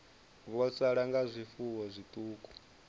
vho sala nga zwifuwo zwiṱuku